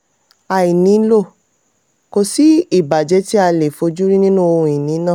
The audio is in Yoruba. àìnílò: kò sí ìbàjẹ́ tí a lè fojúrí nínú ohun ìní náà.